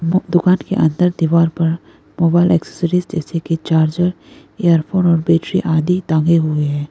वो दुकान के अंदर दीवार पर मोबाइल एसेसरीज जैसे की चार्जर इयरफोन और बैटरी आदि टांगे हुए हैं।